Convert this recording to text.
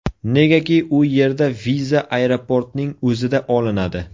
Negaki u yerda viza aeroportning o‘zida olinadi.